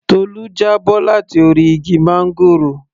Tolu já bọ́ láti orí igi máńgòrò